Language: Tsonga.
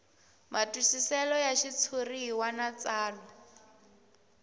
matwisiselo ya xitshuriwa na tsalwa